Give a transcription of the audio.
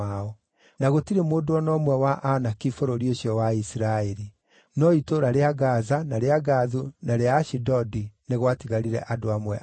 Na gũtirĩ mũndũ o na ũmwe wa Anaki bũrũri ũcio wa Isiraeli; no itũũra rĩa Gaza, na rĩa Gathu, na rĩa Ashidodi nĩ gwatigarire andũ amwe ao.